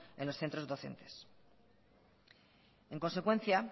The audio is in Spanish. en los centros docentes en consecuencia